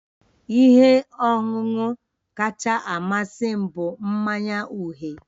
Ihe ọṅụṅụ kacha amasị m bụ mmanya uhie